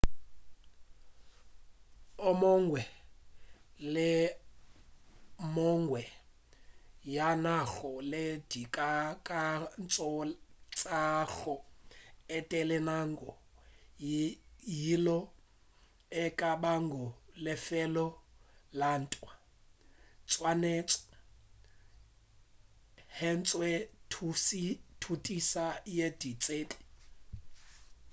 o mongwe le o mongwe yo a nago le dikakanyo tša go etela naga yeo e ka bago lefelo la ntwa o swanetše a hwetše thutiša ya ditsebi